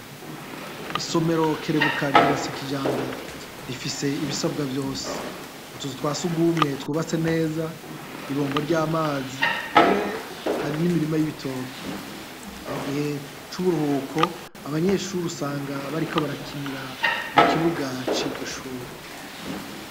Isomero Kerebuka ryubatse kijambere rifise ibisabwa vyose, utuzu twasugumwe twubatse neza, i bombo ry’amazi, mbere hari n‘imirima y’ibitoke. Mu gihe c’uburuhuko, abanyeshure usanga bariko barakinira mu kibuga c’iryo shure.